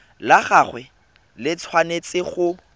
la gagwe le tshwanetse go